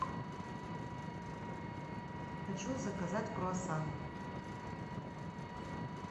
хочу заказать круассаны